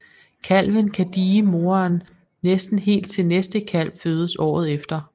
Kalven kan die moren næsten helt til næste kalv fødes året efter